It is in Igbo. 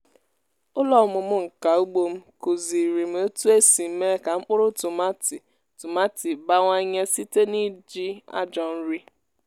ụlọ ọmụmụ nka ugbo m kụziri m otu esi mee ka mkpụrụ tomati tomati bawanye site n’iji ajọ nri.